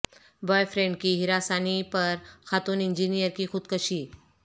boy friend کی ہراسانی پر خاتون انجینئر کی خودکشی